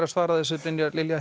að svara þessu Brynjar Lilja